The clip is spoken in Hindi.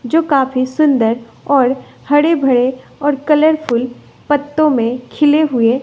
जो काफी सुंदर और हरे भरे और कलरफुल पत्तों में खिले हुए--